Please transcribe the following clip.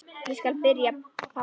Ég skal spyrja pabba.